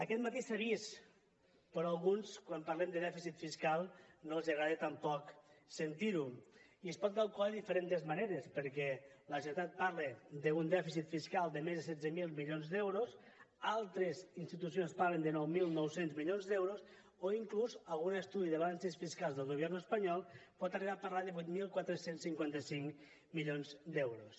aquest matí s’ha vist però a alguns quan parlem de dèficit fiscal no els agrada tampoc sentir ho i es pot calcular de diferents maneres perquè la generalitat parla d’un dèficit fiscal de més de setze mil milions d’euros altres institucions parlen de nou mil nou cents milions d’euros o inclús algun estudi de balances fiscals del gobierno espanyol pot arribar a parlar de vuit mil quatre cents i cinquanta cinc milions d’euros